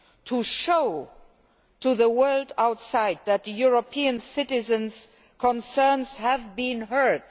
to show to the world outside that European citizens' concerns have been heard